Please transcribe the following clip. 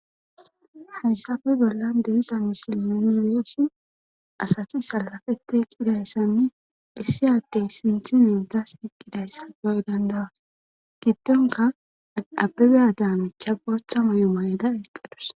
hayssafe bolla de'iza misilinoni beesi asati salafete eqqidayssanni issi addey sinthi mintas iqqidayssa beoy dandawas giddonka abebeya daanecha boththa mayumayda eqqadus